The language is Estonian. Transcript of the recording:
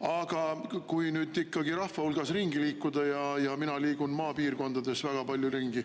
Aga ikkagi rahva hulgas ringi liikumise – mina liigun maapiirkondades väga palju ringi